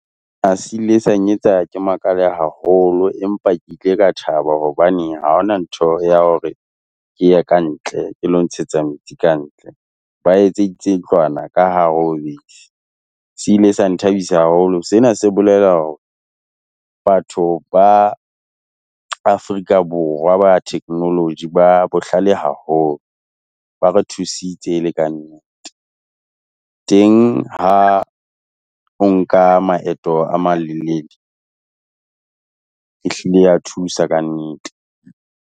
A se ile sa nnyetsa ke makale haholo, empa ke ile ka thaba hobaneng ha ho na ntho ya hore ke ye kantle, ke lo ntshetsa metsi kantle. Ba etseditse ntlwana ka hare ho bese. Se ile sa nthabisa haholo. Sena se bolela hore batho ba Afrika Borwa ba technology ba bohlale haholo. Ba re thusitse e le kannete. Teng ha o nka maeto a malelele ehlile ya thusa kannete.